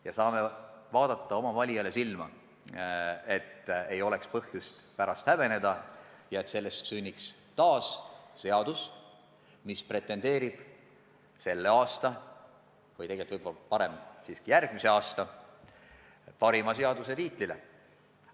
Me saame häbenemata oma valijaile silma vaadata, teades, et sellest eelnõust sünniks seadus, mis pretendeerib kas selle aasta või järgmise aasta parima seaduse tiitlile.